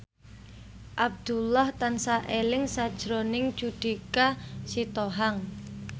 Abdullah tansah eling sakjroning Judika Sitohang